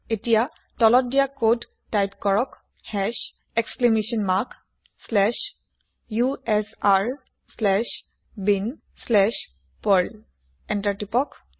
এতিয়া তলত দিয়া কদ টাইপ কৰক hash exclamation mark slash u s r slash bin slash perl enter press কৰক